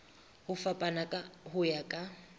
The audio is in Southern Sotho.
ho fapana ho ya ka